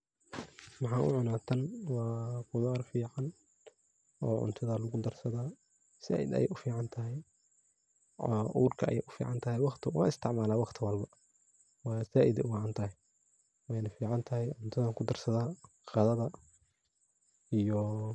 Waxan u cuna tan waa khudar fican, oo cuntada lagu darsadaa zaid ayey u fican tahay waa urka ayey fican tahay waqti walbo wan isticmala waa zaid ayey u macan tahay, weyna fican tahay cuntadan kudarsadaa qadada iyo .